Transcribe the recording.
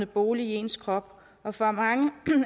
bolig i ens krop og for mange